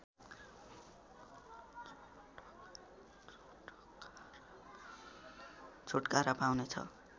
छुटकारा पाउने छ